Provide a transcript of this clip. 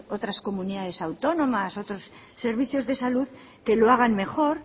otras comunidades autónomas u otros servicios de salud que lo hagan mejor